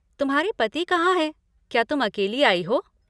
तुम्हारे पति कहाँ हैं, क्या तुम अकेली आई हो?